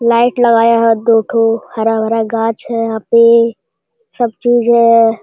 Light लगाया है दोथो हरा भरा घास है यहाँ पे सब चीज है।